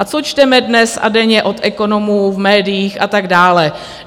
A co čteme dnes a denně od ekonomů v médiích a tak dále?